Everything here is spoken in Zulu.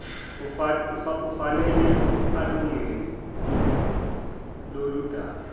ufanele alungene loludaba